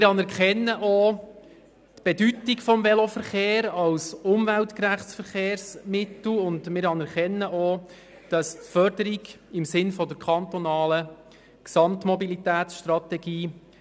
Wir anerkennen auch die Bedeutung des Velos als umweltgerechtes Verkehrsmittel und unterstützen die Förderung des Veloverkehrs im Sinne der kantonalen Gesamtmobilitätsstrategie.